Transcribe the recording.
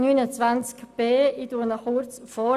Ich lese dessen Absatz 1 vor: